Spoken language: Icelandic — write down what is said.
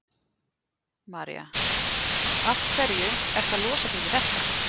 María: Af hverju ertu að losa þig við þetta?